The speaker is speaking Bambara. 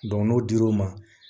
n'o dir'o ma